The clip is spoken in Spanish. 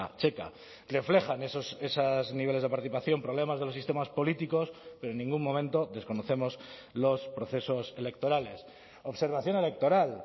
checa reflejan esos niveles de participación problemas de los sistemas políticos pero en ningún momento desconocemos los procesos electorales observación electoral